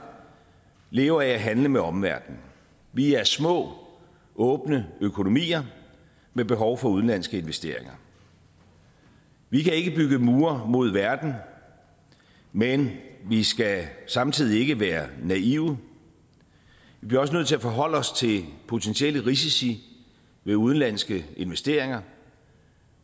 lever af at handle med omverdenen vi er små åbne økonomier med behov for udenlandske investeringer vi kan ikke bygge mure mod verden men vi skal samtidig ikke være naive vi bliver også nødt til at forholde os til potentielle risici ved udenlandske investeringer